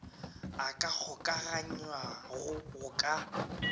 a ka kgokaganywago go ka